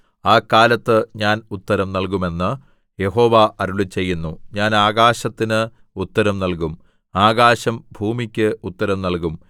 ആ കാലത്ത് ഞാൻ ഉത്തരം നല്കും എന്ന് യഹോവ അരുളിച്ചെയ്യുന്നു ഞാൻ ആകാശത്തിന് ഉത്തരം നല്കും ആകാശം ഭൂമിക്ക് ഉത്തരം നല്കും